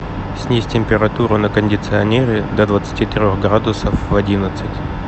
снизь температуру на кондиционере до двадцати трех градусов в одиннадцать